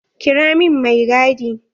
Kira min mai gadi.